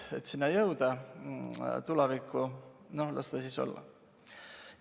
Et jõuda sinna, tulevikku, las ta siis olla.